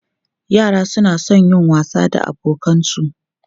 Yara suna son yin wasa da abokansu.